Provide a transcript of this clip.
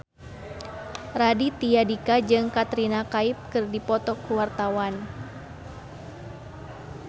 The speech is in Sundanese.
Raditya Dika jeung Katrina Kaif keur dipoto ku wartawan